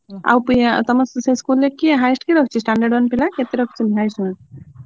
ଆଉ ତମ school ରେ କିଏ highest କିଏ ରଖିଛି standard one ପିଲା?